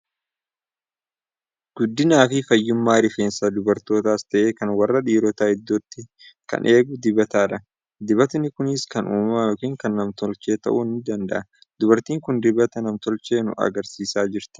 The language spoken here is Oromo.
Guddinaa fi fayyummaa rifeensa dubartootaas ta'e, kan warra dhiirotaa iddootti kan eegu dibatadha. Dibatni kunis kan uumamaa yookiin kan nam-tolchee ta'uu ni danda'a. Dubartiin kun dinbata nam-tolchee nu argisiisaa jirti.